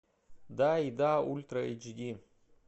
да и да ультра эйч ди